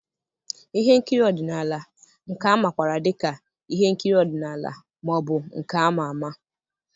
ihe nkiri ọdịnala, nke a makwaara dị ka ihe nkiri ọdịnala ma ọ bụ nke ama ama.